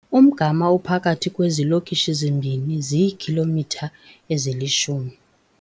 Umgama ophakathi kwezilokishi zimbini ziikhilomitha ezilishumi.